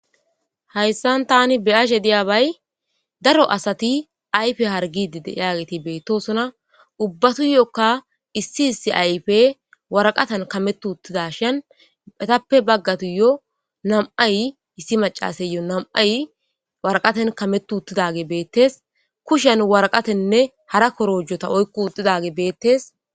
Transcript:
hayssan tani be7ashe diyabay daro asati ayfe hargidide yaageti beettosona ubbatu yokka issi issi ayfe waraqatan kametu uttida shan etappe baggatuyo nam7ay issi macasayyo nam7ay waraqaten kametu uttidage beettes kushen waraqatenne hara korojjota oykku udidage beettes